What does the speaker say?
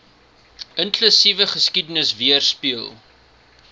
inklusiewe geskiedenis weerspieël